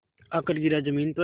आकर गिरा ज़मीन पर